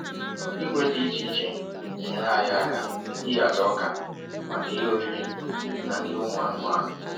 Igwe dị iche iche na-enyere anyị aka ịhazi ọka maka ihe oriri na nri ụmụ anụmanụ.